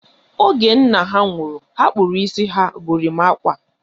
Oge nna ha nwụrụ, ha kpụrụ isi ha gorimakwa